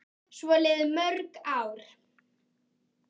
Svo liðu mörg ár.